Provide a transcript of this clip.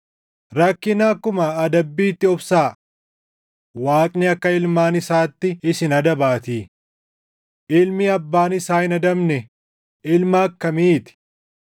Rakkina akkuma adabbiitti obsaa; Waaqni akka ilmaan isaatti isin adabaatii. Ilmi abbaan isaa hin adabne ilma akkamii ti?